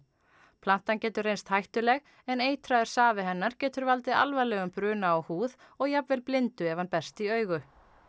plantan getur reynst hættuleg en eitraður safi hennar getur valdið alvarlegum bruna á húð og jafnvel blindu ef hann berst í augu